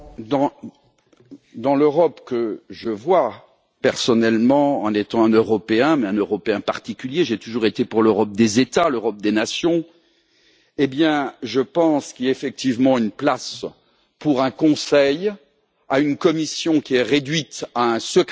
Dans l'Europe que je vois personnellement en tant qu'Européen, mais un Européen particulier j'ai toujours été pour l'Europe des États, l'Europe des Nations je pense qu'il y a effectivement une place pour un Conseil et pour une Commission réduite à un secrétariat du Conseil,